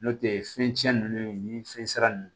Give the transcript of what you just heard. N'o tɛ fɛn tiɲɛnen ni fɛnsira nunnu